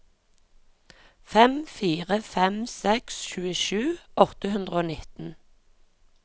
fem fire fem seks tjuesju åtte hundre og nitten